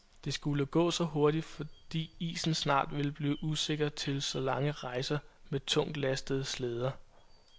Det skulle gå hurtigt, fordi isen snart ville blive usikker til så lange rejser med tungtlastede slæder.